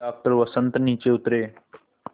doctor Vasant नीचे उतरे